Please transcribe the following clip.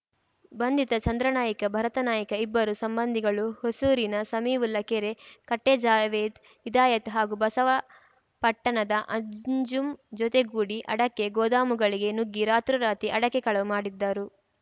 ಬಂಧಿತ ಚಂದ್ರನಾಯ್ಕ ಭರತ ನಾಯ್ಕ ಇಬ್ಬರೂ ಸಂಬಂಧಿಗಳು ಹೊಸೂರಿನ ಸಮೀವುಲ್ಲಾ ಕೆರೆಕಟ್ಟೆಜಾವೇದ್‌ ಇದಾಯತ್‌ ಹಾಗೂ ಬಸವಾಪಟ್ಟಣದ ಅಂಜುಂ ಜೊತೆಗೂಡಿ ಅಡಕೆ ಗೋದಾಮುಗಳಿಗೆ ನುಗ್ಗಿ ರಾತ್ರೋರಾತ್ರಿ ಅಡಕೆ ಕಳವು ಮಾಡಿದ್ದರು